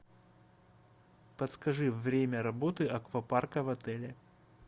подскажи время работы аквапарка в отеле